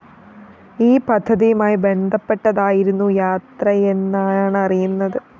ഈ പദ്ധതിയുമായി ബന്ധപ്പെട്ടായിരുന്നു യാത്രയെന്നാണറിയുന്നത്